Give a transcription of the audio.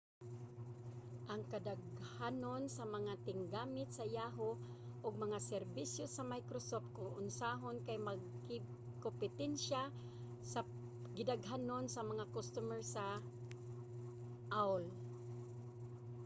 ang kadaghanon sa mga tiggamit sa yahoo! ug mga serbisyo sa microsoft kon usahon kay makigkompetensya sa gidaghanon sa mga customer sa aol